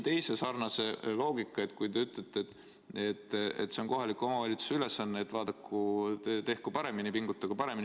Te ütlete, et see on kohaliku omavalitsuse ülesanne, et vaadaku ja tehku paremini, pingutagu paremini.